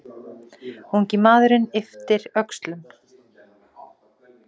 Ungi maðurinn ypptir öxlum.